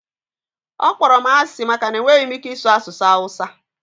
ọ kpọrọ m asị maka na enweghị m ike ịsụ asụsụ hausa